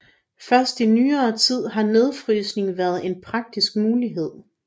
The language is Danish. Først i nyere tid har nedfrysning været en praktisk mulighed